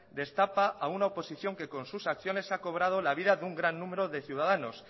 destapa a una oposición que con sus acciones se ha cobrado la vida de un gran número de ciudadanos